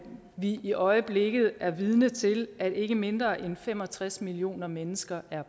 vi i øjeblikket er vidner til at ikke mindre end fem og tres millioner mennesker er